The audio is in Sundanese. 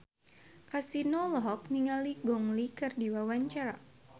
Kasino olohok ningali Gong Li keur diwawancara